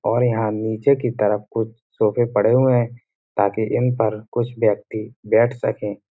और यहाँ नीचे की तरफ कुछ सोफे पड़े हुए हैं तकि इन पर कुछ व्यक्ति बैठ सकें।